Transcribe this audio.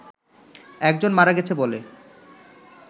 একজন মারা গেছে বলে